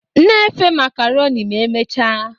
Na-efe macaroni ma emechaa